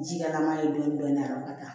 Ji kɛlama ye dɔɔni dɔɔni a ka kan